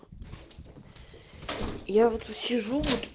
я вот сижу вот